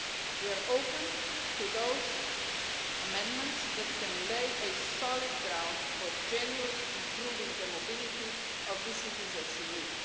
We are open to those amendments that can lay solid ground for generally improving the mobility of these citizens in need.